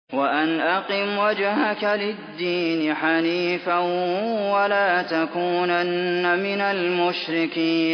وَأَنْ أَقِمْ وَجْهَكَ لِلدِّينِ حَنِيفًا وَلَا تَكُونَنَّ مِنَ الْمُشْرِكِينَ